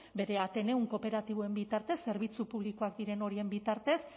bere ateneum kooperatiboen bitartez zerbitzu publikoak diren horien bitartez